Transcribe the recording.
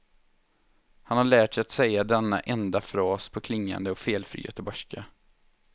Han har lärt sig att säga denna enda fras på klingande och felfri göteborgska.